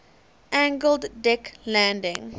angled deck landing